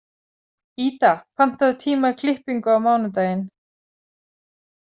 Ída, pantaðu tíma í klippingu á mánudaginn.